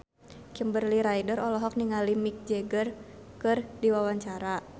Kimberly Ryder olohok ningali Mick Jagger keur diwawancara